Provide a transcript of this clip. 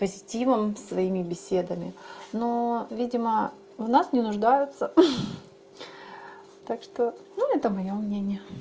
позитивом своими беседами но видимо в нас не нуждаются ха-ха так что ну это моё мнение